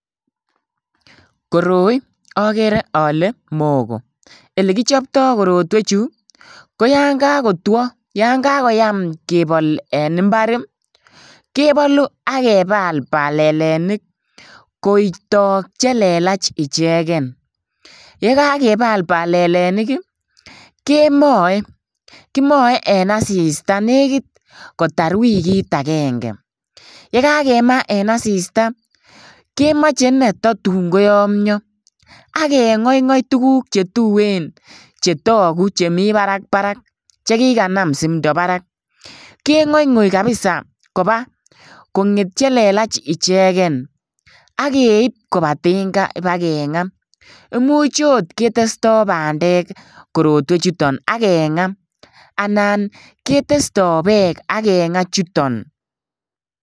Koroi okere ole mogo elekichoptoo korotwechu koyan kakotwo yan kakoyam kebol en mbar ih kebolu ak kebal balalenik kotok chelelach icheken. Yekakebal balalenik ih kemoe, kimoe en asista nekit kotar wikit agenge. Yekakemaa en asista kemoche nei tatun koyomyo akeng'oing'oi tuguk chetuen chetogu chemii barak barak chekikanam simdo barak, keng'oing'oi kabisa koba konget chelelach icheken akeib koba tinga bakeng'aa. Imuch ot ketestoo bandek korotwechuton akeng'aa anan ketestoo beek ak keng'aa chuton